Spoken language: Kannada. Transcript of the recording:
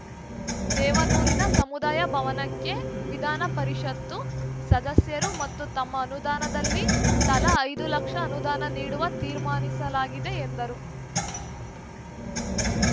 ದೇವನೂರಿನ ಸಮುದಾಯ ಭವನಕ್ಕೆ ವಿಧಾನಪರಿಷತ್ತು ಸದಸ್ಯರು ಮತ್ತು ತಮ್ಮ ಅನುದಾನದಲ್ಲಿ ತಲಾ ಐದು ಲಕ್ಷ ಅನುದಾನ ನೀಡಲು ತಿರ್ಮಾನಿಸಲಾಗಿದೆ ಎಂದರು